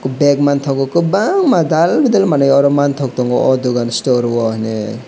dek mangtogo kobangma dal bidal manui aro mangtok tongo o dogan store o hinui.